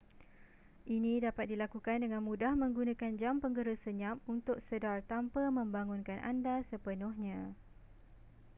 ini dapat dilakukan dengan mudah menggunakan jam penggera senyap untuk sedar tanpa membangunkan anda sepenuhnya